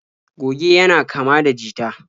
Goge yana kama da jita.